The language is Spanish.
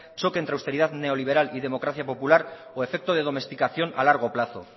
choques entre austeridad neoliberal y democracia popular o efecto de domesticación a largo plazo